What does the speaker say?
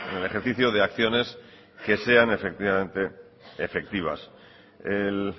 el ejercicio de acciones que sean efectivamente efectivas el